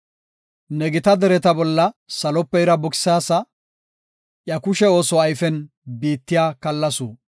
Ne gita dereta bolla salope ira buksaasa; iya kushe ooso ayfen biittiya kallasu.